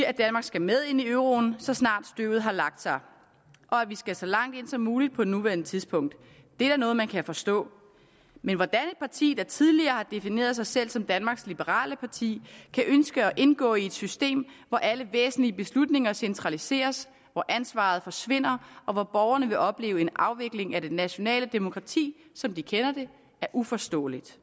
at danmark skal med ind i euroen så snart støvet har lagt sig og at vi skal så langt ind som muligt på nuværende tidspunkt det er da noget man kan forstå men hvordan et parti der tidligere har defineret sig selv som danmarks liberale parti kan ønske at indgå i et system hvor alle væsentlige beslutninger centraliseres hvor ansvaret forsvinder og hvor borgerne vil opleve en afvikling af det nationale demokrati som de kender det er uforståeligt